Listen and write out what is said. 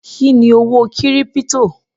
Kí ni owó kírípítò?